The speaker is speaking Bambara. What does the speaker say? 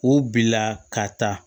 O bila ka taa